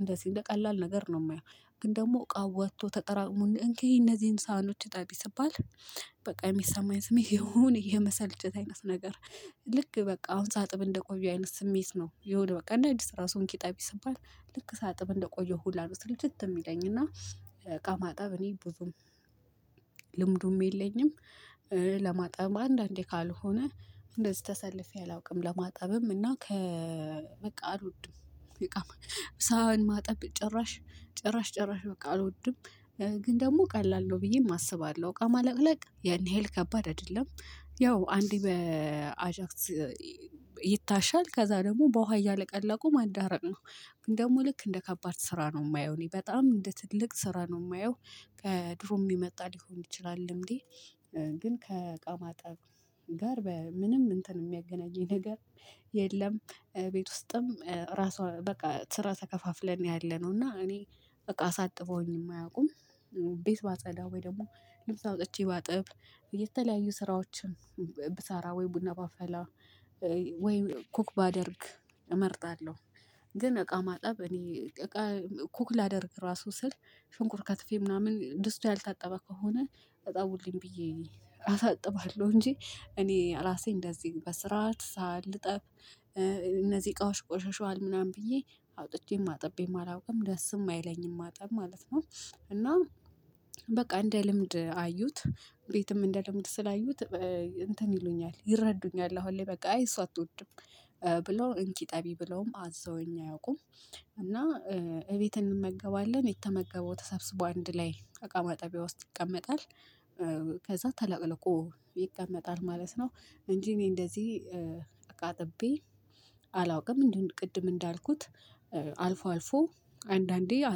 እንደዚህ እንደ ቀላል ነገር ነው የማየው። ግን ደግሞ እቃ ወጥቶ ተጠራቅሞ እንኪ እነዚህን ሳህኖች እጠቢ ስባል በቃ የሚሰማኝ ስሜት የሆነ የመሰልቸት አይነት ነገር። ልክ በቃ አሁን ሳጥብ እንደቆየው አይነት ስሜት ነው የሆነ በቃ እንደ አዲስ ራሱ እንኪ እጠቢ ስባል ልክ ሳጥብ እንደቆየሁ ሁላ ስልችት የሚለኝ እና። እቃ ማጠብ እኔ ብዙም ልምዱም የለኝም። ለማጠብም አንዳንዴ ካልሆነ እንደዚህ ተሰልፌ አላውቅም ለማጠብም እና ከ በቃ አልወድም። እቃማጠ ሳህን ማጠብ ጭራሽ ጭራሽ ጭራሽ በቃ አልወድም። ግን ደግሞ ቀላል ነው ብዬም አስባለሁ እቃ ማለቅለቅ ያን ያህል ከባድ አይደለም። ያው አንዴ በአጃክስ ይታሻል ከዛ ደግሞ በውሃ እያለቀለቁ ማዳረቅ ነው። ግን ደግሞ ልክ እንደ ከባድ ስራ ነው የማየው እኔ በጣም እንደ ትልቅ ስራ ነው የማየው። ከድሮ የሚመጣ ሊሆን ይችላል ልምዴ። ግን ከእቃ ማጠብ ጋር በምንም እንትን የሚያገናኘኝ ነገር የለም። ቤት ውስጥም ራሷ በቃ ስራ ተከፋፍለን ያለነው እና እኔ እቃ አሳጥበውኝም አያውቁም። ቤት ባጸዳ ወይ ደግሞ ልብስ አውጥቼ ባጠብ የተለያዩ ስራዎችን ብሰራ ወይ ቡና ባፈላ ወይ ኩክ ባደርግ እመርጣለሁ። ግን እቃ ማጠብ እኔ እቃ ኩክ ላደርግ ራሱ ስል ሽንኩርት ከትፌ ምናምን ድስቱ ያልታጠበ ከሆነ እጠቡልኝ ብዬ አሳጥባለሁ እንጂ እኔ ራሴ እንደዚህ በስራት ሳህን ልጠብ። እነዚህ እቃዎች ቆሽሽዋል ምናምን ብዬ አውጥቼም አጥቤም አላውቅም ደስም አይለኝም ማጠብ ማለት ነው። እና በቃ እንደ ልምድ አዩት ቤትም እንደ ልምድ ስላዩት እንትን ይሉኛል ይረዱኛል አሁን ላይ በቃ አይ እሷ አትወድም። ብሎ እንኪ እጠቢ ብለውም አዘውኝ አያውቁም። እና እቤት እንመገባለን የተመገበው ተሰብስቦ አንድ ላይ አቃ ማጠቢያ ውስጥ ይቀመጣል። ከዛ ተለቅልቆ ይቀመጣል ማለት ነው። እንጂ እኔ እንደዚህ እቃ አጥቤ አላውቅም ምንድነው ቅድም እንዳልኩት። አልፎ አልፎ አንዳንዴ አጥ